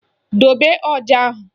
Dobe ọja ahụ!